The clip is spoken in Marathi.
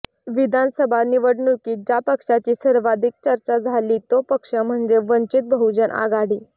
विधानसभा निवडणुकीत ज्या पक्षाची सर्वाधिक चर्चा झाली तो पक्ष म्हणजे वंचित बहुजन आघाडी